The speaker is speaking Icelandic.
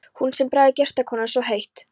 Hún sem þráði gestakomur svo heitt!